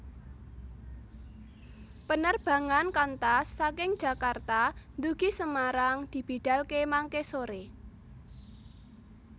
Penerbangan Qantas saking Jakarta ndugi Semarang dibidalke mangke sore